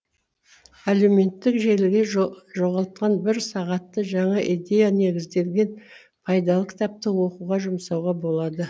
әлеуметтік желіге жоғалтқан бір сағатты жаңа идея негізделген пайдалы кітапты оқуға жұмсауға болады